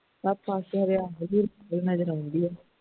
ਤਾਂ ਨਜ਼ਰ ਆਉਂਦੀ ਹੈ